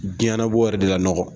Diɲɛɲɛnabɔ yɛrɛ de ka nɔgɔn.